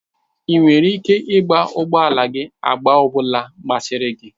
Ị nwere ike igba ụgbọ ala gị agba ọ bụla masịrị gị.